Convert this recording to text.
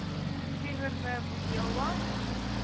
teenoor me vuyelwa